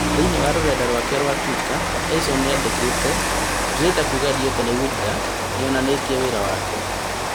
Thĩĩ- inĩ wa rũrenda rwake rwa Twitter Tyson nĩandĩkĩte "ndĩrenda kuga Deontay Wilder nĩonanĩtie wĩra wake"